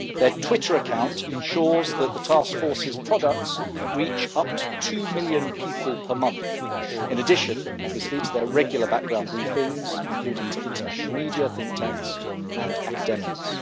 Its Twitter account ensures that the Task Force's products reach up to two million people per month, in addition, obviously, to regular background briefings, including to international media, think tanks and academics.